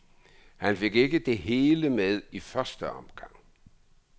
Han fik ikke det hele med i første omgang.